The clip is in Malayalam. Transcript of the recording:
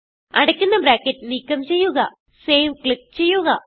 അടയ്ക്കുന്ന ബ്രാക്കറ്റ് നീക്കം ചെയ്യുക സേവ് ക്ലിക്ക് ചെയ്യുക